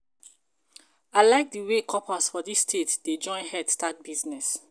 I like the wey corpers for this state dey join head start business